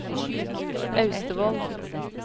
Austevoll